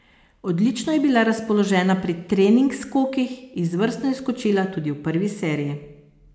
Odlično je bila razpoložena pri trening skokih, izvrstno je skočila tudi v prvi seriji.